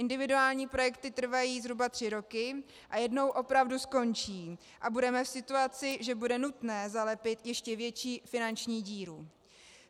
Individuální projekty trvají zhruba tři roky a jednou opravdu skončí a budeme v situaci, že bude nutné zalepit ještě větší finanční díru.